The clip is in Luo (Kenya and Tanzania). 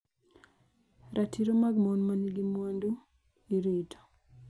Ratiro mag mon ma nigi mwandu. irito